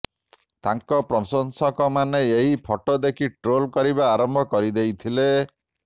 ତାଙ୍କ ପ୍ରଶଂସକମାନେ ଏହି ଫଟୋ ଦେଖି ଟ୍ରୋଲ୍ କରିବା ଆରମ୍ଭ କରିଦେଇଥିଲେ